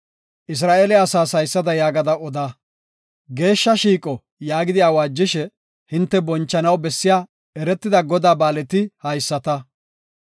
Isra7eele asaas haysada yaagada oda; Geeshsha shiiqo yaagidi awaajishe, hinte bonchanaw bessiya eretida Godaa ba7aaleti haysata.